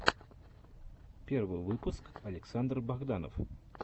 первый выпуск александр богданов